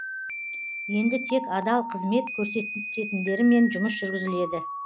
енді тек адал қызмет көрсететіндермен жұмыс жүргізіледі